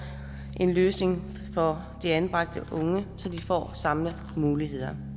en løsning for de anbragte unge så de får samme muligheder